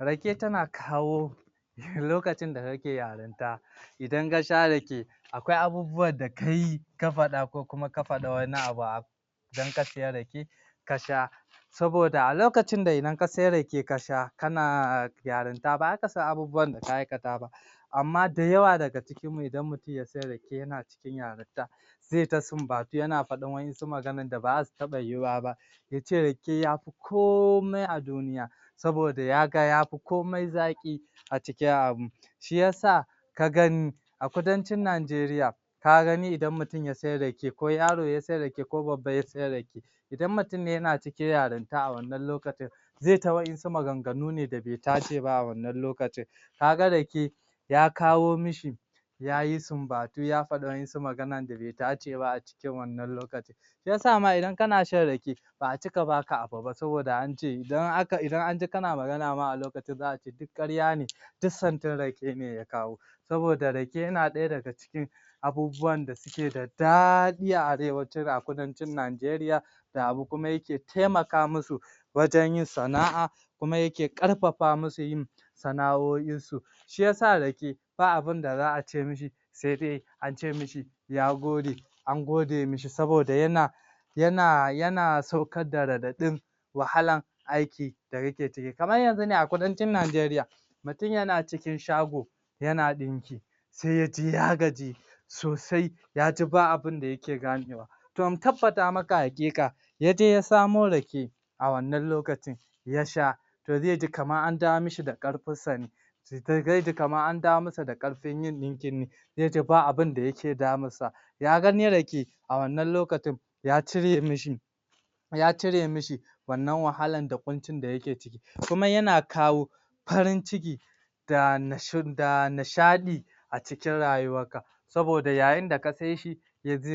Rake tana kawo lokacin da kake yarinta idan ka sha Rake akwai abubuwan kai ka faɗa ko kuma ka faɗa wani abu idan ka siya Rake ka sha saboda a lokacin da idan ka sai rake ka sha kana kana yarinta ba za ka san ana abubuwan amma da yawa daga cikin idan mutum ya sai Rake yana cikin yarinta zai ta sumbatu yana faɗin wa'yansu magana da ba za su taɓa yiwuwa ba ya ce Rake ya fi komai a duniya saboda ya ga ya fi komai zaƙi a cikin abinci shi ya sa ka gani a kudancin Nigaria ka gani idan mutum ya sai Rake ko yaro ya sai Rake ko Babba ya sai Rake idan mutum ne yana cikin yarinta a wanna lokacin zai yi ta wa'yansu maganganu da bai tashi ba a wannan lokacin ka ga Rake ya kawo mishi ya yi sumbutu ya faɗi wa'yansu maganan da bai dace ba a cikin wannna lokacin shi ya sama idan kana shan Rake ba a cika baka bu ba saboda ance idan aka idan anji kana magana ma a lokacin za a ce duk ƙarya ne dis santin Rake ne ya kawo saboda Rake yan ɗaya daga cikin abubuwana da suke abubuwan da suke da daɗi a kudancin Nigaria kuma yake taimaka musu wajen yin sana'a kuma yake ƙarfafa musu yin sana'o'insu shi ya sa Rake ba abinda za a ce mishi sai dai ace mishi ya gode an gode mishi saboda yana yana yana saukar da raɗaɗin wahalar aiki da yake ciki kamar yanzu ne a kudancin Nigaria mutum yana cikin shago yana ɗinki sai ya ji ya gaji sosai ya ji ba abinda yake ganewa to in tabbata maka haƙiƙa yaje ya samo Rake a wannan lokacin ya sha to zai ji kamar an dawo mashi da ƙarfinsa ne zai ji kamar an dawo masa da ƙarfin yin ɗinki ne zai ji ba abinda yake damunsa ya gani Rake a wannan lokacin ya cire mishi ya cire mishi wannan wahakar da ƙuncin da yake ciki kuma yana kawo farin ciki da nish da nishaɗi a cikin rayuwarka saboda yayin da ka sai shi?